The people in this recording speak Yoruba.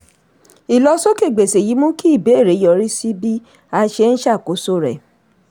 ilọsókè gbèsè yìí mú kí ìbéèrè yọ̀rí sí bí a ṣe ń ṣàkóso rẹ̀.